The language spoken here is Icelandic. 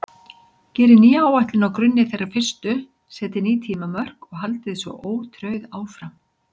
Gerið nýja áætlun á grunni þeirrar fyrstu, setjið ný tímamörk og haldið svo ótrauð áfram.